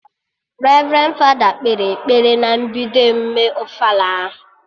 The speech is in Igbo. Revrendi fada kpere ekpere na mbido emume ofala ahụ